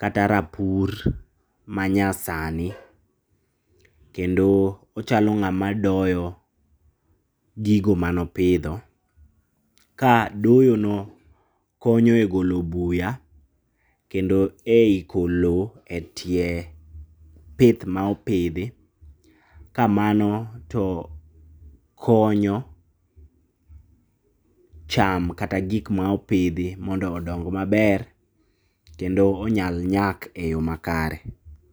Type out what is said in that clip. kata rapur ma nyasani. Kendo ochalo ng'ama doyo gigo mane opidho. Ka doyo no konyo e golo buya, kendo ei iko lowo e tie pith ma opidhi. Ka mano to konyo cham, kata gik ma opidhi mondo odong maber, kendo onyal nyak e yo makare.